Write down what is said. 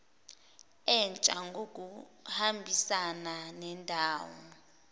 entsha ngokuhambisana nendawo